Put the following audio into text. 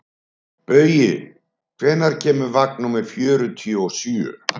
Baui, hvenær kemur vagn númer fjörutíu og sjö?